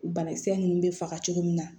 Banakisɛ ninnu bɛ faga cogo min na